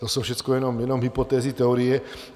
To jsou všechno jenom hypotézy, teorie.